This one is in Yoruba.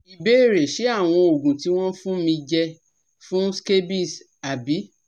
Ìbéèrè Ṣé àwọn oògùn tí wọ́n fún mi je fun scabies abi?